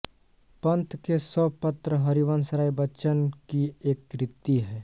पंत के सौ पत्र हरिवंश राय बच्चन की एक कृति है